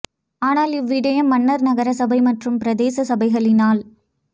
ஆனால் இவ் விடயம் மன்னார் நகர சபை மற்றும் பிரதேச சபைகளினால்